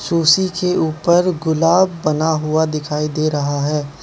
तुलसी के ऊपर गुलाब बना हुआ दिखाई दे रहा है।